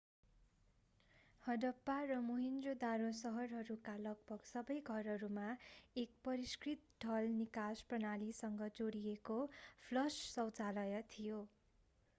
हडप्पा र मोहेन्जो-दरो शहरहरूका लगभग सबै घरहरूमा एक परिष्कृत ढल निकास प्रणालीसँग जोडिएको फ्लश शौचालय थियो